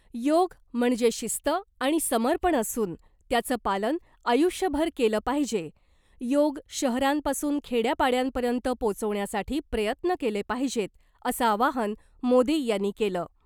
योग म्हणजे शिस्त आणि समर्पण असून त्याचं पालन आयुष्यभर केलं पाहिजे , योग शहरांपासून खेड्या पाड्यांपर्यंत पोचवण्यासाठी प्रयत्न केले पाहिजेत , असं आवाहन मोदी यांनी केलं .